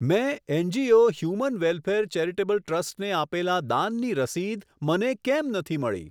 મેં NGO human welfare charitable trust ને આપેલાં દાનની રસીદ મને કેમ નથી મળી?